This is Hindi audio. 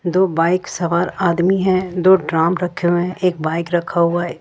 दो बाइक सवार आदमी है दो ड्रम रखे हुए है एक बाइक रखा हुआ है।